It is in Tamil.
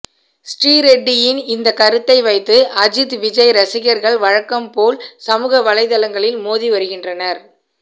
ஸ்ரீரெட்டியின் இந்த கருத்தை வைத்து அஜித் விஜய் ரசிகர்கள் வழக்கம்போல் சமூக வலைதளங்களில் மோதி வருகின்றனர்